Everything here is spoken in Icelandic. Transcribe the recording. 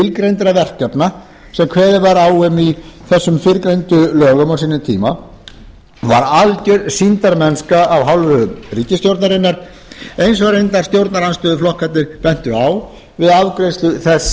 til skilgreindra verkefna sem kveðið var á um í þessum fyrrgreindu lögum á sínum tíma var algjör sýndarmennska af hálfu ríkisstjórnarinnar eins og reyndar stjórnarandstöðuflokkarnir bentu á við afgreiðslu þess